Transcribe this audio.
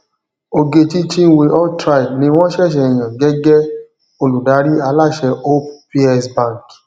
ogechi chinwe altraide ni wón ṣẹṣẹ yàn gẹgẹ olùdarí aláṣẹ hope psbank